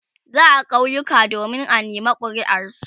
za'a kauyuka domin a nema kuriar su